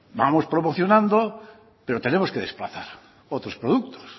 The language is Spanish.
vamos promocionando pero tenemos que desplazar otros productos